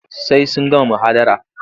Sai sun gama muhadara.